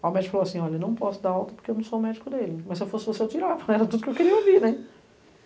Aí o médico falou assim, olha, não posso dar alta porque eu não sou o médico dele, mas se eu fosse você eu tirava, era tudo que eu queria ouvir, né?